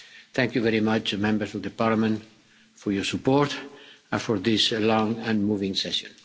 Thank you very much, Members of the Parliament, for your support and for this long and moving session.